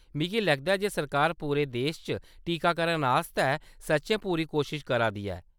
मिगी लगदा ऐ जे सरकार पूरे देश च टीकाकरण आस्तै सच्चैं पूरी कोशश करा दी ऐ।